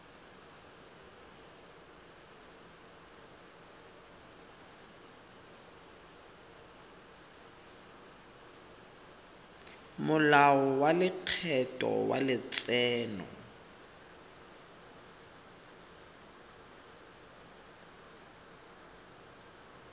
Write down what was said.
molao wa lekgetho wa letseno